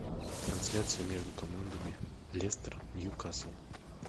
трансляция между командами лестер ньюкасл